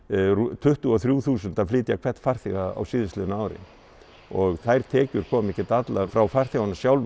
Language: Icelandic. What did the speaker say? tuttugu og þrjú þúsund að flytja hvern farþega á síðastliðnu ári og þær tekjur koma ekki allir frá farþegunum sjálfum